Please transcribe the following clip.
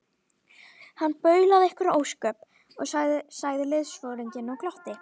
Hann baulaði einhver ósköp, sagði liðsforinginn og glotti.